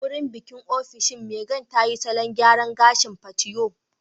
A wurin bikin ofishin, Megan tayi salon gyaran gashin patewo